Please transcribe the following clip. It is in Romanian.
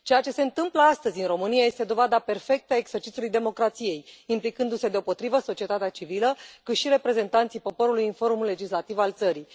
Ceea ce se întâmplă astăzi în România este dovada perfectă a exercițiului democrației, implicându se deopotrivă atât societatea civilă, cât și reprezentanții poporului în forul legislativ al țării.